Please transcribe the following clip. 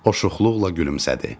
O şuxluqla gülümsədi.